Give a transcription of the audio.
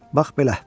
Bax belə.